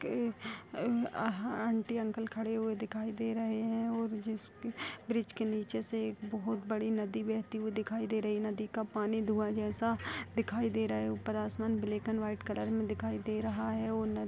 के aunty uncle खड़े हुए दिखाई दे रहे है और जिस ब्रिज के नीचे से एक बहुत बड़ी नदी बहती हुई दिखाई दे रही है नदी का पानी धुँवा जैसा दिखाई दे रहा है ऊपर आसमान ब्लैक एंड व्हाइट कलर में दिखाई दे रहा है और न --